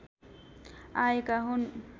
आएका हुन्